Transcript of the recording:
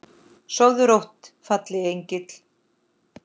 Sofðu rótt fallegi engill.